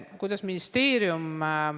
Kuidas ministeerium panustab?